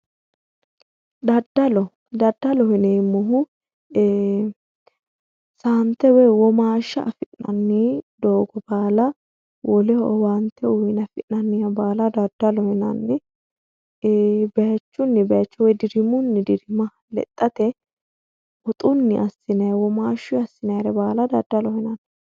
Daddallo, daddaloho yineemmohu saante woyi womashsha affi'nanni doogo baalla woleho owaante uyine affi'nanni baalla daddaloho yinnanni bayichunni bayicho dirimunni dirima lexxate woxunni assinanni womashsha baalla daddaloho yinanni.